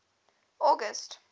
august